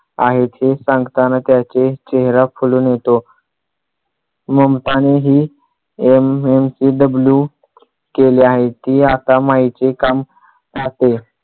आहेत हे सांगताना त्याचे चेहरा खुलून येतो. ममताने ही MMPW केले आहे ती आता माईचे काम पाहते.